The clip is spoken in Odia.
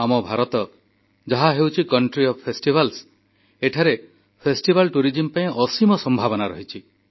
ଆମ ଭାରତ ହେଉଛି ପାର୍ବଣର ଦେଶ ଏଠି ଫେଷ୍ଟିଭାଲ୍ଟୁରିଜିମ୍ ପାଇଁ ଅସୀମ ସମ୍ଭାବନା ରହିଛି